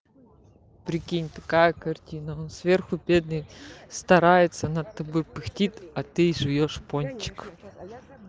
прикинь такая картина сверху бедный старается над тобой пыхтит а ты жуёшь пончик